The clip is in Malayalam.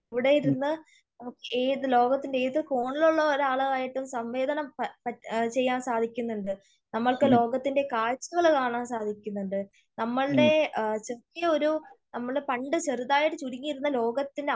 ഇവിടെയിരുന്ന് ഏത് ലോകത്തിന്റെ ഏത് കോണിലുള്ള ഒരാളായിട്ടും സംവേദനം ചെയ്യാൻ സാധിക്കുന്നുണ്ട്. നമ്മൾക്ക് ലോകത്തിന്റെ കാഴ്ചകൾ കാണാൻ സാധിക്കുന്നുണ്ട് . നമ്മളുടെ ചെറിയ ഒരു നമ്മള് പണ്ട് ചെറുതായ ചുരുങ്ങിയിരുന്ന ലോകത്തിന് അപ്പുറം